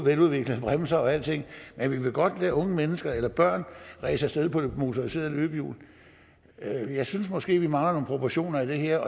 bremser og alting men vi vil godt lade unge mennesker eller børn ræse afsted på et motoriseret løbehjul jeg synes måske vi mangler nogle proportioner i det her